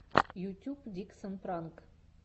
ютьюб диксон пранк